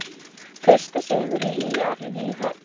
Fyrsti sigur ÍR í höfn